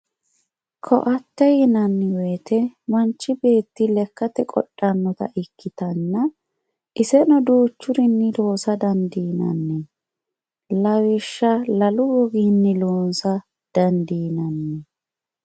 koatte yinanni wote manchi beetti lekkate qodhannota ikkitanna iseno duuchurinni loosa dandiinanni lawishsha lalu goginni loosa dandiinanni.